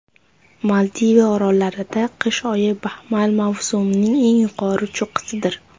Maldiv orollarida qish oyi baxmal mavsumining eng yuqori cho‘qqisidir.